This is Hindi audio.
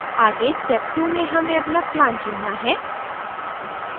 आगे step 2 में हमें अपना plan चुनना है